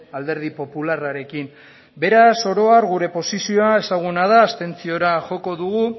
alderdi popularrarekin beraz oro har gure posizioa ezaguna da abstentziora joko dugu